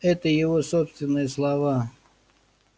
это его собственные слова